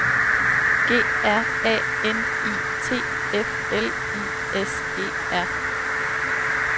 G R A N I T F L I S E R